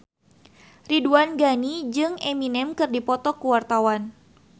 Ridwan Ghani jeung Eminem keur dipoto ku wartawan